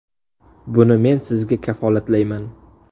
Buni men sizga kafolatlayman.